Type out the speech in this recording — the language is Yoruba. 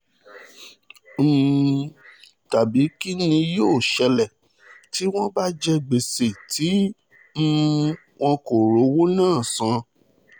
um tàbí kín ni yóò ṣẹlẹ̀ tí wọ́n bá jẹ gbèsè tí um wọn kò rówó náà san